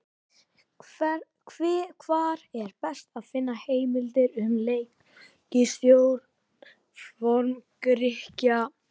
Hvar er best að finna heimildir um leiklist Forn-Grikkja?